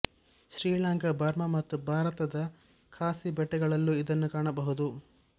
Sri Lanka Burma ಮತ್ತು ಭಾರತದ ಖಾಸಿ ಬೆಟ್ಟಗಳಲ್ಲೂ ಇದನ್ನು ಕಾಣಬಹುದು